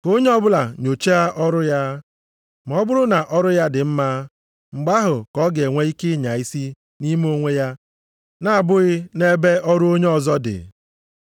Ka onye ọbụla nyocha ọrụ ya, ma ọ bụrụ na ọrụ ya dị mma, mgbe ahụ ka ọ ga-enwe ihe ịnya isi nʼime onwe ya na-abụghị nʼebe ọrụ onye ọzọ dị.